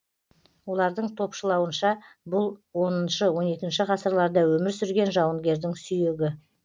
олардың топшылауынша бұл оныншы он екінші ғасырларда өмір сүрген жауынгердің сүйегі